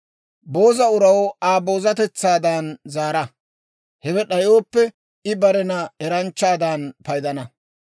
Booza uraw Aa boozatetsaadan zaara; hewe d'ayooppe, I barena eranchchaadan paydana.